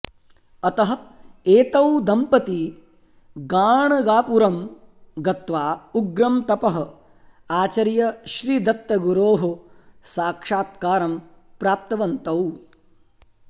अतः एतौ दम्पती गाणगापुरं गत्वा उग्रं तपः आचर्य श्री दत्तगुरोः साक्षात्कारं प्राप्तवन्तौ